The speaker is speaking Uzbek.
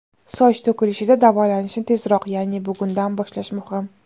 Soch to‘kilishida davolanishni tezroq ya’ni bugundan boshlash muhim.